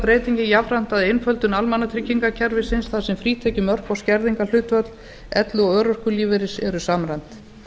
breytingin jafnframt að einföldun almannatryggingakerfisins þar sem frítekjumörk og skerðingarhlutföll elli og örorkulífeyris eru samræmd